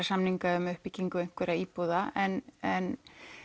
samninga um uppbyggingu einhverra íbúða en en